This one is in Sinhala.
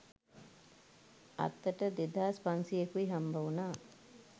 අතට දෙදාස් පන්සීයකුයි හම්බවුනා.